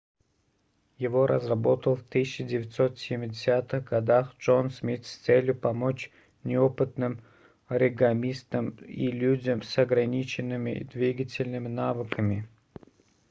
его разработал в 1970-х годах джон смит с целью помочь неопытным оригамистам и людям с ограниченными двигательными навыками